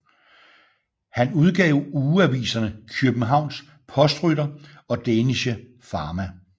Han udgav ugeaviserne Kjøbenhavns Postrytter og Dänische Fama